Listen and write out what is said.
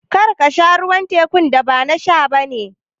Kar ka sha ruwan teku, ba na sha ba ne